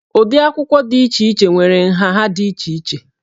Ụdị akwụkwọ dị iche iche nwere nha ha dị iche iche